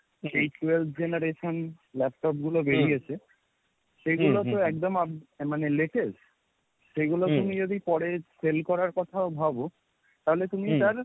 eight twelve generation laptop গুলো বেরিয়েছে, সেগুলো তো একদম মানে latest, সেগুলো তুমি যদি পরে sale করার কথা ভাবো তাহলে তুমি তাহলে,